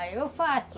Aí eu faço.